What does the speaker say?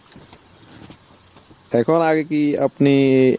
এখন আগে কি আপনি